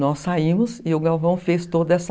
Nós saímos e o Galvão fez toda essa...